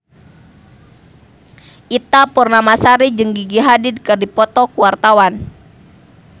Ita Purnamasari jeung Gigi Hadid keur dipoto ku wartawan